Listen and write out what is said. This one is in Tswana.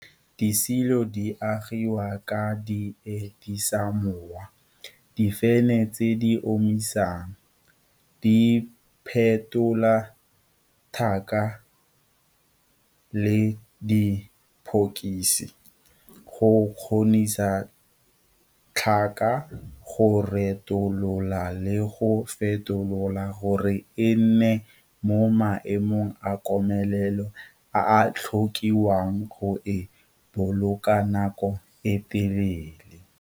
Disilo di agiwa ka diedisamowa, difene tse di omisang, diphetola tlhaka le diphokisi go kgonisa tlhaka go retolola le go fetolwa gore e nne mo maemong a komelelo a a tlhokiwang go e boloka nako e telele.